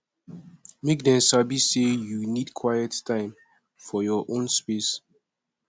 make dem sabi say you need quiet time for your own space